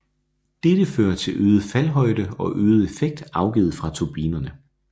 Dette fører til øget faldhøjde og øget effekt afgivet fra turbinerne